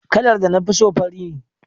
Kalar da na fi so fari ne.